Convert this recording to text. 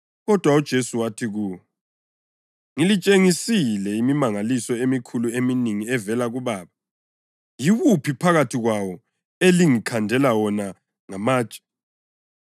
kodwa uJesu wathi kuwo, “Ngilitshengisile imimangaliso emikhulu eminengi evela kuBaba. Yiwuphi phakathi kwayo elingikhandela wona ngamatshe?”